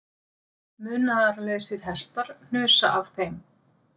Munaðarlausir hestar hnusa af þeim